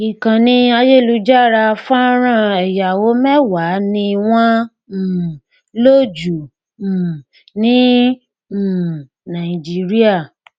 ìkànnì ayélujára fọnrán ẹyáwó mẹwàá ni wọn um lò jù um ní um nàìjíríà